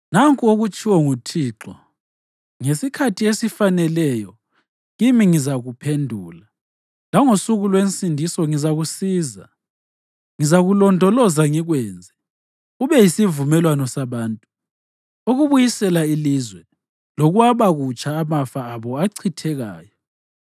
Nanku okutshiwo nguThixo: “Ngesikhathi esifaneleyo kimi ngizakuphendula, langosuku lwensindiso ngizakusiza. Ngizakulondoloza ngikwenze ube yisivumelwano sabantu, ukubuyisela ilizwe lokwaba kutsha amafa abo achithekayo,